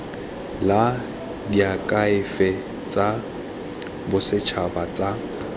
la diakhaefe tsa bosetšhaba tsa